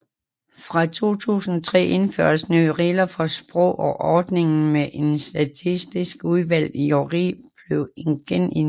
Fra 2003 indførtes nye regler for sprog og ordningen med en statistisk udvalgt jury blev genindført